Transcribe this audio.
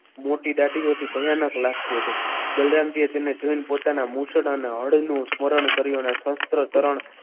મોટી દાઢી એની ભયાનક લાગતી હતી બલરામજીએ તેને જોઈને પોતાના મુછડાના હળનું સ્મરણ કર્યું અને શસ્ત્ર કરણ.